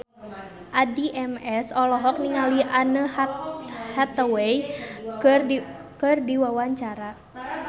Addie MS olohok ningali Anne Hathaway keur diwawancara